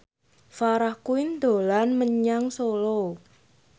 Farah Quinn dolan menyang Solo